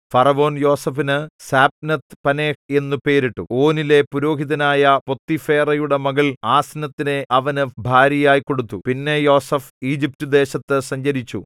ഫറവോൻ യോസേഫിനു സാപ്നത്ത് പനേഹ് എന്നു പേരിട്ടു ഓനിലെ പുരോഹിതനായ പോത്തിഫേറയുടെ മകൾ ആസ്നത്തിനെ അവന് ഭാര്യയായി കൊടുത്തു പിന്നെ യോസേഫ് ഈജിപ്റ്റുദേശത്തു സഞ്ചരിച്ചു